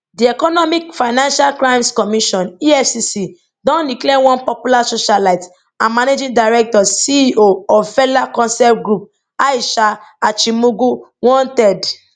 di economic financial crimes commission efcc don declare one popular socialite and managing directorceo of felak concept group aisha achimugu wanted